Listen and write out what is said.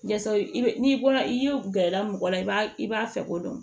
Yasa i bɛ n'i bɔra i ye gɛrɛ mɔgɔ la i b'a i b'a fɛ ko dɔn